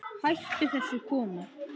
Hættu þessu kona!